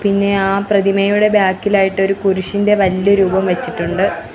പിന്നെ ആ പ്രതിമയുടെ ബാക്ക് ഇലായിട്ട് ഒരു കുരിശിൻ്റെ വല്യ രൂപം വച്ചിട്ടുണ്ട്.